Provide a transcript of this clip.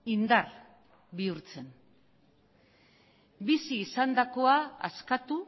indar bihurtzen bizi izandakoa askatu